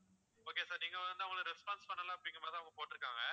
okay sir நீங்க வந்து அவங்களை response பண்ணல அப்படிங்கற மாதிரி தான் அவங்க போட்டுருக்காங்க